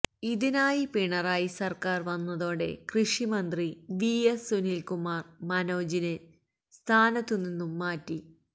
ഇതിനിടെ പിണറായി സർക്കാർ വന്നതോടെ കൃഷിമന്ത്രി വി എസ് സുനിൽകുമാർ മനോജിനെ സ്ഥാനത്തുനിന്നും മാറ്റി